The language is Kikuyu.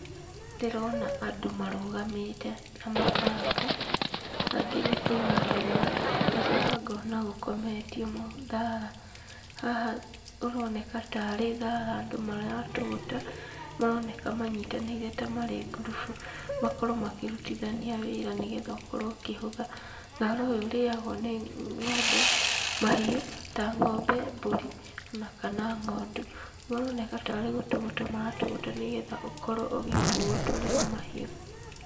Ndĩrona andũ marũgamĩte, na mabanga, angĩ nĩ kũinamĩrĩra ngacoka ngona gũkometio thara. Haha ũroneka tarĩ thara andũ maratũgũta, maronekana manyitanĩire ta ngurubu, makorwo makĩrutithania wĩra nĩhetha ũkorwo ũkĩhũtha. Thara ũyũ ũrĩagwo nĩ ng'ombe, mahiũ, ta ng'ombe mbũri kana ng'ondu. Maroneka tarĩ gũtũgũta maratũgũta nĩgetha ũkorwo ũgĩkuwo ũtwarĩrwo mahiũ.